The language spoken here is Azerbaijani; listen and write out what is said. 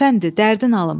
Əfəndi, dərdin alım.